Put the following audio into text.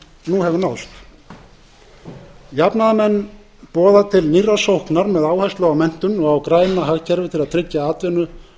hefur náðst jafnaðarmenn boða til nýrrar sóknar með áherslu á menntun og græna hagkerfið til að tryggja atvinnu